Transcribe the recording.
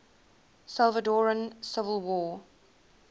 salvadoran civil war